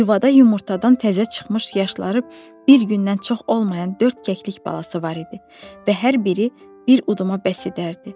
Yuvada yumurtadan təzə çıxmış yaşları bir gündən çox olmayan dörd kəklik balası var idi və hər biri bir uduma bəs edərdi.